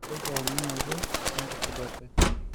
Neintoki aning' ajo ekintukujitae